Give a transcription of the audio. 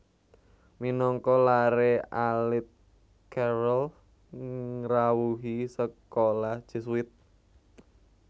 Minangka laré alit Carrel ngrawuhi sekolah Jesuit